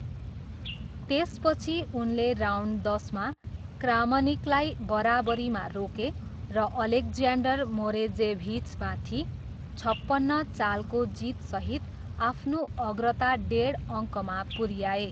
त्यसपछि उनले राउन्ड दसमा क्रामनिकलाई बराबरीमा रोके र अलेक्ज्यान्डर मोरोजेभिचमाथि छपन्न चालको जितसहित आफ्नो अग्रता डेढ अङ्कमा पुऱ्याए।